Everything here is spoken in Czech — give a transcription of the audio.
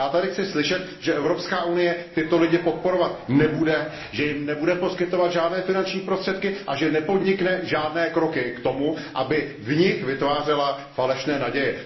Já tady chci slyšet, že Evropská unie tyto lidi podporovat nebude, že jim nebude poskytovat žádné finanční prostředky a že nepodnikne žádné kroky k tomu, aby v nich vytvářela falešné naděje.